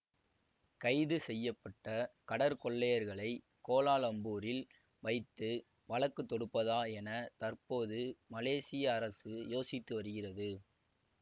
கைது செய்ய பட்ட கடற்கொள்ளையர்களை கோலாலம்பூரில் வைத்து வழக்கு தொடுப்பதா என தற்போது மலேசிய அரசு யோசித்து வருகிறது